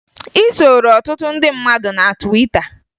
Ị soro ọtụtụ ndị mmadụ na Twita